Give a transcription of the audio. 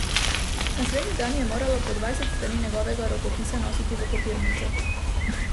Naslednji dan je morala po dvajset strani njegovega rokopisa nositi v kopirnico.